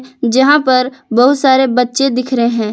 जहां पर बहुत सारे बच्चे दिख रहे हैं।